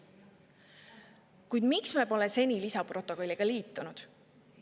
Kuid miks me pole seni lisaprotokolliga liitunud?